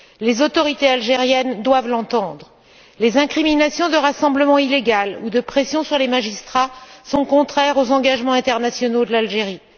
Les autorités algériennes doivent l'entendre. Les incriminations de rassemblement illégal ou les pressions sur les magistrats sont contraires aux engagements internationaux de l'Algérie.